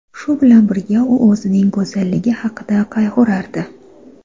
Shu bilan birga, u o‘zining go‘zalligi haqida qayg‘urardi.